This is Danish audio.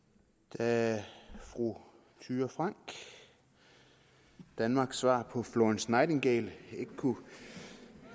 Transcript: da fru thyra frank danmarks svar på florence nightingale